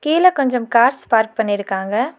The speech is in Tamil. கீழ கொஞ்சம் கார்ஸ் பார்க் பண்ணிருக்காங்க.